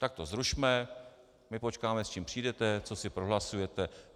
Tak to zrušme, my počkáme, s čím přijdete, co si prohlasujete.